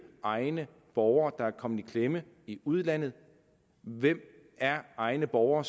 egne borgere der er kommet i klemme i udlandet hvem er egne borgere